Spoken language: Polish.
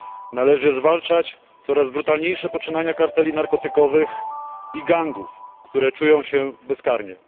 Należy zwalczać coraz brutalniejsze poczynania karteli narkotykowych i gangów, które czują się bezkarnie.